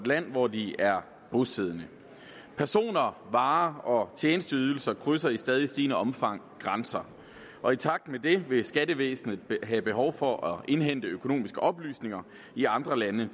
land hvor de er bosiddende personer varer og tjenesteydelser krydser i stadig stigende omfang grænser og i takt med det vil skattevæsenet have behov for at indhente økonomiske oplysninger i andre lande